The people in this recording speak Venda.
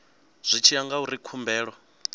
zwi tshi ya ngauri khumbelo